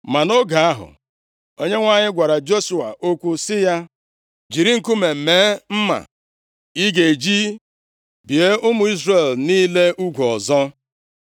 Ma nʼoge ahụ, Onyenwe anyị gwara Joshua okwu sị ya, “Jiri nkume mee mma ị ga-eji bie ụmụ Izrel niile ugwu ọzọ.”